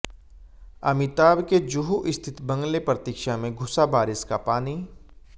अमिताभ के जुहू स्थित बंगले प्रतीक्षा में घुसा बारिश का पानी